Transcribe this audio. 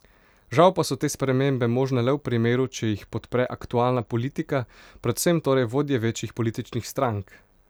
Žal pa so te spremembe možne le v primeru, če jih podpre aktualna politika, predvsem torej vodje večjih političnih strank.